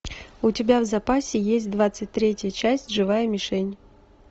у тебя в запасе есть двадцать третья часть живая мишень